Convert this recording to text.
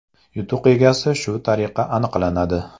Yutuq egasi shu tariqa aniqlanadi.